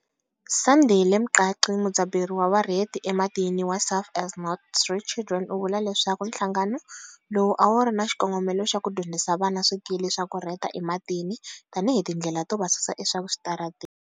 Sandile Mqadi mudzaberi wa varheti ematini wa Surfers Not Street Children u vule leswaku nhlangano lowu a wu ri na xikongomelo xa ku dyondzisa vana swikili swa ku rheta ematini tanihi tindlela to va susa eswitarateni.